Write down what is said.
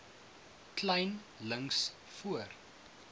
kleyn links voor